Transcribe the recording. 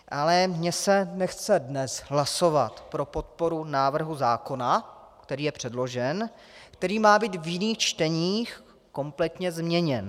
Ale mně se nechce dnes hlasovat pro podporu návrhu zákona, který je předložen, který má být v jiných čteních kompletně změněn.